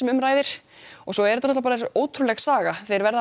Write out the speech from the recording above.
um ræðir svo er þetta svo ótrúlega saga verða